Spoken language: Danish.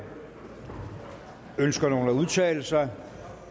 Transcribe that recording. ønsker nogen at udtale sig